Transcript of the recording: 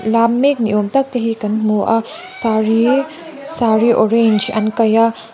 lam mek ni awm tak tehi kan hmu a saree saree orange an kaih a.